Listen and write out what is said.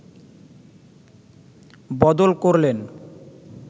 বদল করলেন